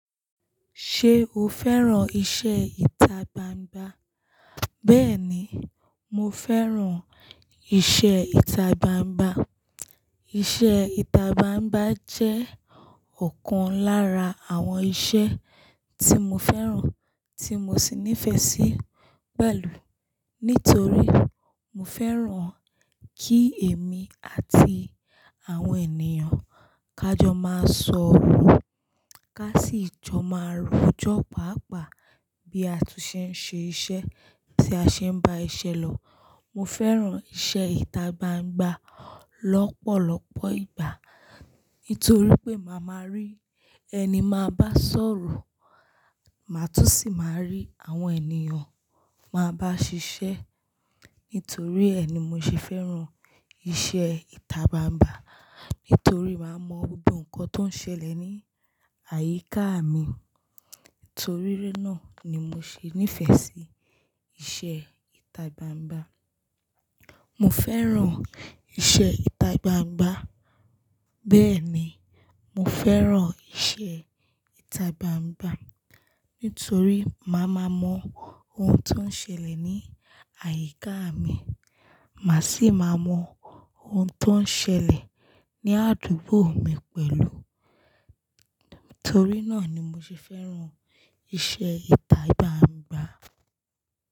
Ṣé o fẹ́ràn iṣẹ́ itagbangba? Bẹ́ẹ̀ni, mo fẹ́ràn iṣẹ́ itagbangba. Iṣẹ́ itababa jẹ́ ọ̀kan lára àwọn iṣẹ́ tí mo fẹ́ràn tí mo sì nífẹ̀ẹ́ sí pẹ̀lú nítorí mo fẹ́ràn kí èmi àti àwọn ènìyàn ká jọ máa sọ̀rọ̀, ká sì jọ máa rojọ́ pàápàá bí a tún ṣe ń ṣe iṣẹ́ tí a ṣe ń bá iṣẹ́ lọ. Mo fẹ́ràn iṣẹ́ itagbangba lọ́pọ̀lọpọ̀ ìgbà nítorí pé màá ma rí ẹni máa bá sọ̀rọ̀, màá tún sì máa rí àwọn ènìyàn máa bá ṣiṣẹ́. Nítorí ẹ ni mo ṣe fẹ́ràn iṣẹ́ itagbangba nítorí màá mọ gbogbo nǹkan tó ń ṣẹlẹ̀ ní àyíká mi. Nítorí rí náà ni mo ṣe nífẹ̀ẹ́ sí iṣẹ́ itagbangba. Mo fẹ́ràn iṣẹ́ itababa. Bẹ́ẹ̀ni, mo fẹ́ràn iṣẹ́ itagbangba nítorí màá ma mọ ohun tó ń ṣẹlẹ̀ ní àyíká mi, màá sì máa mọ ohun tó ń ṣẹlẹ̀ ní àdúgbò mi pẹ̀lú. Nítorí náà ni mo ṣe fẹ́ràn iṣẹ́ itababa.